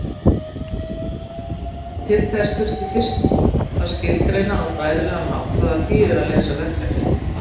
Til þess þurfti fyrst að skilgreina á fræðilegan hátt hvað það þýðir að leysa verkefni.